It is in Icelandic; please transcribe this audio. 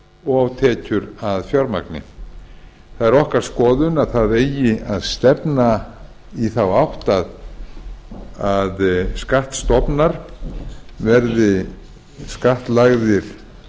og tekjur að fjármagni hins vegar það er okkar skoðun að stefna eigi í þá átt að skattstofnar verði skattlagðir